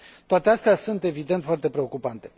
Toate astea sunt evident foarte preocupante.